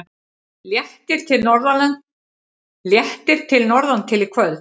Léttir til norðantil í kvöld